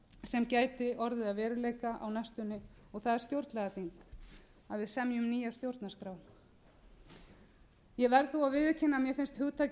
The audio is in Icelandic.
sem gæti orðið að veruleika á næstunni það er stjórnlagaþing að við semjum nýja stjórnarskrá ég verð þó að viðurkenna að mér finnst hugtaki